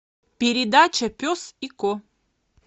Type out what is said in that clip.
передача пес и ко